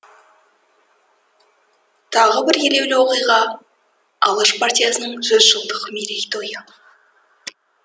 тағы бір елеулі оқиға алаш партиясының жүз жылдық мерей тойы